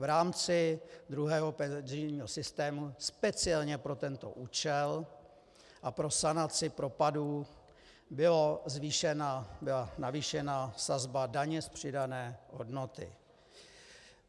V rámci druhého penzijního systému speciálně pro tento účel a pro sanaci propadů byla navýšena sazba daně z přidané hodnoty.